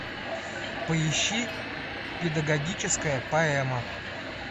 поищи педагогическая поэма